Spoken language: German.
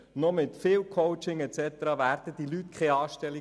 Selbst mit viel Coaching fänden die Leute keine Anstellung.